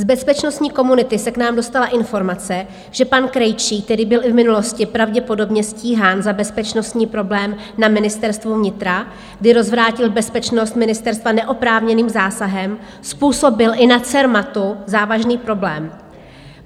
Z bezpečnostní komunity se k nám dostala informace, že pan Krejčí, který byl i v minulosti pravděpodobně stíhán za bezpečnostní problém na Ministerstvu vnitra, kdy rozvrátil bezpečnost ministerstva neoprávněným zásahem, způsobil i na Cermatu závažný problém.